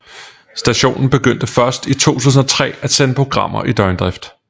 Stationen begyndte først i 2003 at sende programmer i døgndrift